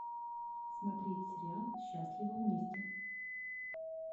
смотреть сериал счастливы вместе